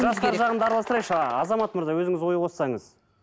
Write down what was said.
жастар жағын да араластырайықшы азамат мырза өзіңіз ой қоссаңыз